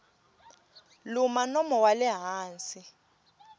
luma nomo wa le hansi